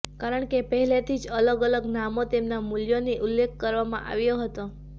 કારણ કે પહેલેથી જ અલગ અલગ નામો તેમના મૂલ્યોની ઉલ્લેખ કરવામાં આવ્યો હતો